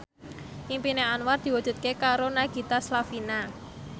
impine Anwar diwujudke karo Nagita Slavina